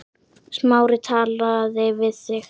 Smári talaði við þig?